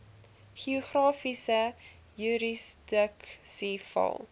geografiese jurisdiksie val